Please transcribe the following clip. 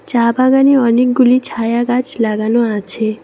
চা বাগানে অনেকগুলি ছায়া গাছ লাগানো আছে।